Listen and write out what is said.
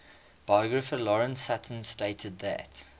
biographer lawrence sutin stated that